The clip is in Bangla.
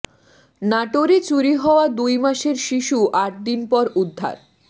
নাটোরে চুরি হওয়া দুই মাসের শিশু আটদিন পর উদ্ধার